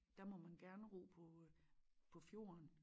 Der må man gerne ro på øh på fjorden